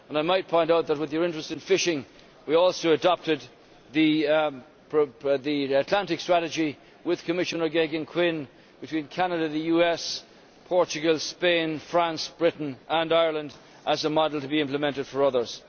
I might point out that with his interest in fishing we also adopted the Atlantic Strategy with Commissioner Geoghegan Quinn between Canada, the US, Portugal, Spain, France, Britain and Ireland as a model to be implemented for others.